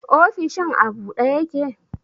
Ofishin a ɓuɗe ƴake?